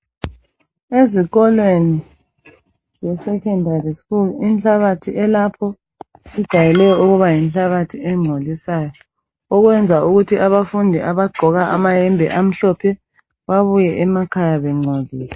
Ezikolweni ze secondary school inhlabathi elapho ijayele ukuba yinhlabathi engcolisayo okwenza ukuthi abafundi abagqoka amayembe amhlophe babuye emakhaya bengcolile.